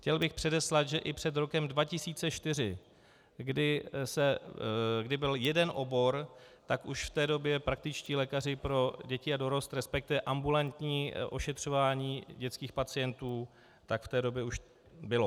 Chtěl bych předeslat, že i před rokem 2004, kdy byl jeden obor, tak už v té době praktičtí lékaři pro děti a dorost, respektive ambulantní ošetřování dětských pacientů, tak v té době už bylo.